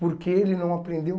Porque ele não aprendeu.